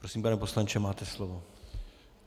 Prosím, pane poslanče, máte slovo.